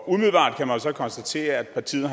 umiddelbart kan man så konstatere at partiet